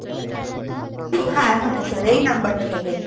হ্যাঁ হ্যাঁ sir এই নাম্বার টা থেকে